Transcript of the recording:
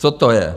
Co to je?